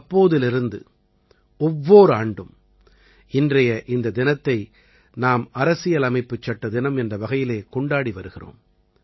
அப்போதிலிருந்து ஒவ்வோர் ஆண்டும் இன்றைய இந்த தினத்தை நாம் அரசியலமைப்புச்சட்ட தினம் என்ற வகையிலே கொண்டாடி வருகிறோம்